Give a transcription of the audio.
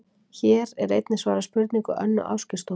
Hér er einnig svarað spurningu Önnu Ásgeirsdóttur: